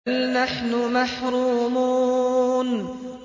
بَلْ نَحْنُ مَحْرُومُونَ